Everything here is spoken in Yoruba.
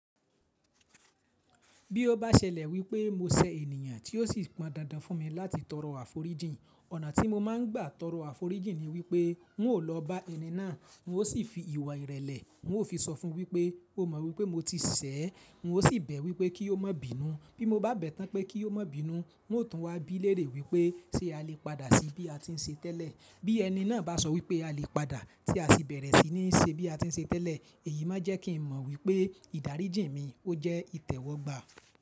Bí ó bá ṣẹlẹ̀ wípé mo ṣẹ ènìyàn tí ó sì pọn dandan fún mi láti tọrọ àforíjìn, ọ̀nà tí mo máa ń gbà tọrọ àforíjìn ni wípé n ó lọ bá ẹni náà n ó sì fi ìwà ìrẹ̀lẹ̀, n ó fi sọ fún wípé ó mọ wípé mo ti ṣẹ̀ ẹ́, n ó sì bẹ̀ wípé kí ó má bínú. Bí mo bá bẹ̀ tán pé kí ó má bínú, n ó tún wá bí léèrè wípé ṣé a lè padà sí bí a ti ń ṣe tẹ́lẹ̀. Bí ẹni náà bá sọ wípé a lè padà tí a sì bẹ̀rẹ̀ sí ní ṣe bí a ti ń ṣe tẹ́lẹ̀, èyí má jẹ́ kí n mọ wípé ìdáríjì mi ó jẹ́ ìtẹ́wọ́gba.